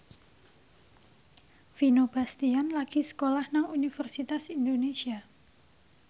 Vino Bastian lagi sekolah nang Universitas Indonesia